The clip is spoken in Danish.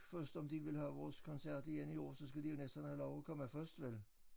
Først om de vil have vores koncert igen i år så skal de jo næsten have lov at komme først vel